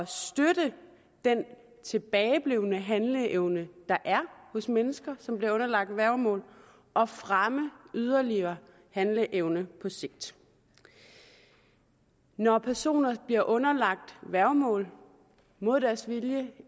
støtte den tilbageblevne handleevne der er hos mennesker som bliver underlagt værgemål og fremme yderligere handleevne på sigt når personer bliver underlagt værgemål mod deres vilje